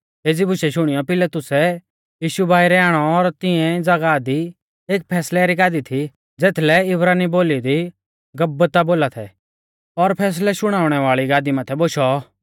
एज़ी बुशै शुणियौ पिलातुसै यीशु बाइरै आणौ और तिऐं ज़ागाह दी एक फैसलै री गादी थी ज़ेथलै इब्रानी बोली दी गब्बता बोला थै और फैसलै शुणाउणै वाल़ी गादी माथै बोशौ